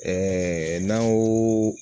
n'an ko